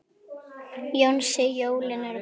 Jónsi, jólin eru komin.